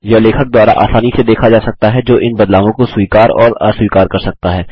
यह लेखक द्वारा आसानी से देखा जा सकता है जो इन बदलावों को स्वीकार और अस्वीकार कर सकता है